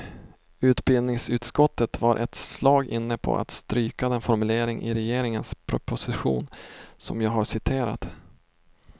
Utbildningsutskottet var ett slag inne på att stryka den formulering i regeringens proposition, som jag har citerat.